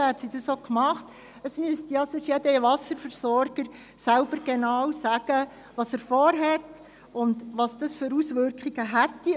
Wenn man mehr Information haben möchte, müsste jeder Wasserversorger selbst sagen, was er vorhat und welche Auswirkungen das hätte.